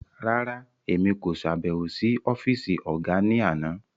Rárá, Èmi ko ṣabẹwo si ọfisi ọga ni àna